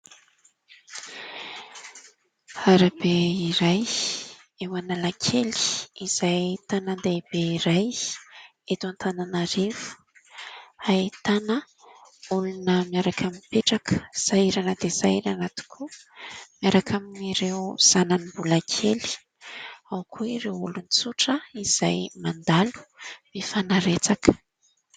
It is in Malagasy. Arabe iray, eo Analakely, izay tanàn-dehibe iray eto Antananarivo. Ahitana olona miaraka mipetraka, sahirana dia sahirana tokoa miaraka amin'ny ireo zanany mbola kely. Ao koa ireo olona tsotra izay mandalo mifanaretsaka.